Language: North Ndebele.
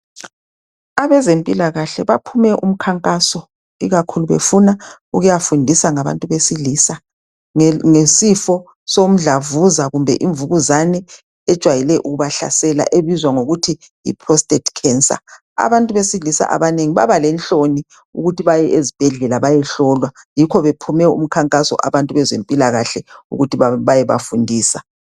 Abezempilakahle baphume umkhankaso befuna ukuyafundisa ngabantu abesilisa. Ngesifo somdlavuza kumbe imvukuzane ajwayele ukubahlasela ebizwa ngokuthi yi prostate cancer. Abantu besilisa abanengi baba lenhloni ukuthi baye esibhedlela bayehlolwa yikho bephume umkhankaso abantu abezempilakahle ukuthi bayabafundisa.